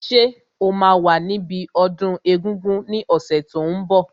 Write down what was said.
Ṣé o máa wà níbi ọdún egungun ní ọ̀sẹ̀ tó n bọ̀?